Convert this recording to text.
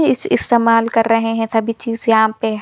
इस इस इस्तेमाल कर रहे है सभी चीज यहाँ पे--